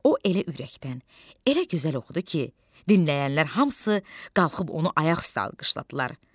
O elə ürəkdən, elə gözəl oxudu ki, dinləyənlər hamısı qalxıb onu ayaq üstə alqışladılar.